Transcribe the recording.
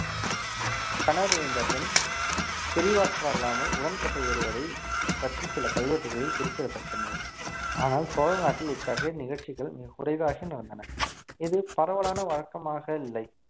கணவர் இழந்த பெண் பிரிவாற்றல்லாமல் உடன்கட்டை ஏறுவதை பற்றி சில கல்வெட்டுகளில் குறிப்பிடத்தக்கது ஆனால் சோழ நாட்டில் இத்தகைய நிகழ்ச்சிகள் மிகக் குறைவாக நடந்தன இது பரவலான வழக்கமாக இல்லை